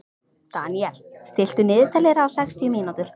Daniel, stilltu niðurteljara á sextíu mínútur.